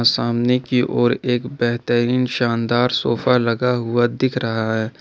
सामने की और एक बेहतरीन शानदार सोफा लगा हुआ दिख रहा है।